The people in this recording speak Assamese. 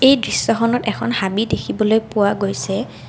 এই দৃশ্যখনত এখন হাবি দেখিবলৈ পোৱা গৈছে।